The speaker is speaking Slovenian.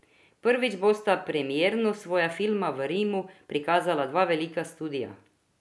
Prvič bosta premierno svoja filma v Rimu prikazala dva velika studia.